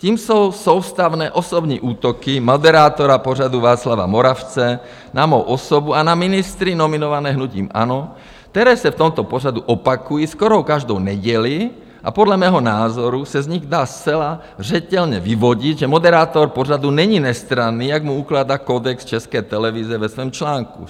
Tím jsou soustavné osobní útoky moderátora pořadu Václava Moravce na mou osobu a na ministry nominované hnutím ANO, které se v tomto pořadu opakují skoro každou neděli a podle mého názoru se z nich dá zcela zřetelně vyvodit, že moderátor pořadu není nestranný, jak mu ukládá kodex České televize ve svém článku.